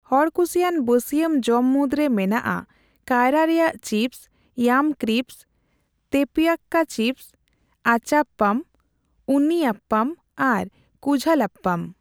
ᱦᱚᱲᱠᱩᱥᱤᱭᱟᱱ ᱵᱟᱹᱥᱭᱟᱹᱢ ᱡᱚᱢ ᱢᱩᱫᱽᱨᱮ ᱢᱮᱱᱟᱜᱼᱟ ᱠᱟᱭᱨᱟ ᱨᱮᱭᱟᱜ ᱪᱤᱯᱚᱥ, ᱤᱭᱟᱢ ᱠᱨᱤᱥᱯᱚᱥ, ᱛᱮᱯᱤᱣᱠᱟ ᱪᱤᱯᱚᱥ, ᱟᱪᱟᱯᱯᱟᱢ, ᱩᱱᱱᱤ ᱟᱯᱯᱟᱢ ᱟᱨ ᱠᱩᱡᱷᱟᱞᱟᱯᱯᱟᱢ᱾